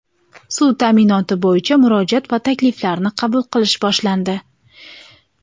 suv taʼminoti bo‘yicha murojaat va takliflarni qabul qilish boshlandi.